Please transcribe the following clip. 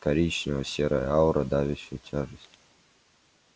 коричнево-серая аура давящая тяжесть